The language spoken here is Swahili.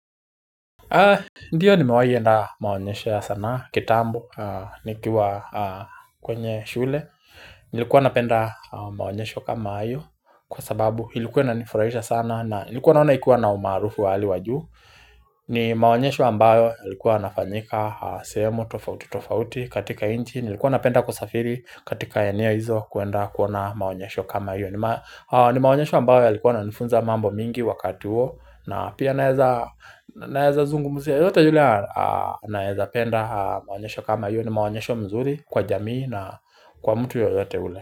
Ndiyo nimewahi enda maonyesho ya sanaa kitambo nikiwa kwenye shule. Nilikuwa napenda maonyesho kama hayo Kwa sababu ilikuwa inanifurahisha sana na nilikuwa naona ikuwa na umarufu wa hali wa juu ni maonyesho ambayo ilikuwa inafanyika sehemu tofauti tofauti katika inchi Nilikuwa napenda kusafiri katika eneo hizo kuenda kuona maonyesho kama hio. Ni maonyesho ambayo yailikuwa yananifunza mambo mingi wakati huo na pia naeza zungumuzia yote yule naeza penda maonyesho kama hio ni maonyesho mzuri kwa jamii na kwa mtu yoyote ule.